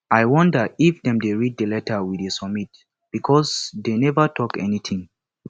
i wonder if dem dey read the letter we submit because dey never talk anything